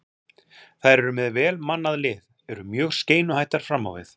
Þær eru með vel mannað lið, eru mjög skeinuhættar fram á við.